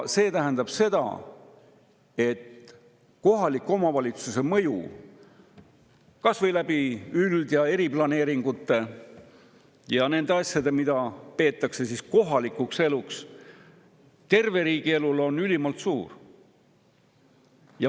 See tähendab, et kohaliku omavalitsuse mõju terve riigi elule, kas või üld‑ ja eriplaneeringute kaudu ja nende asjade tõttu, mida peetakse kohalikuks eluks, on ülimalt suur.